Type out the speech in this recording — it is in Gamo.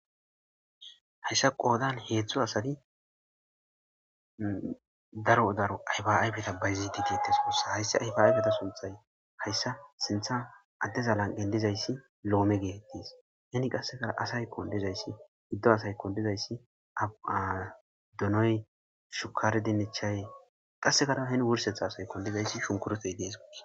hayssa qoodan heedzdzo asadi daro daro ayba7ay beta bayzititites wussa hayssi aybayaybeta sunthay hayssa sintha addezalan qen dizayssi loome geetettis heni qassekara asaykon dizayssi giddo asaykon dizayssi ab7ana donoy shukare dinnechay qassekara heni wursetha asay kon lizayssi shunkurotey dees gusa